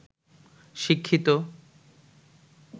শিক্ষিত